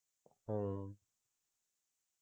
ਹਮ